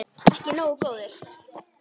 Ekki nógu góður!